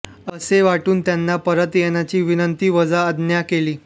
असे वाटून त्यांना परत येण्याची विनंतीवजा आज्ञा केली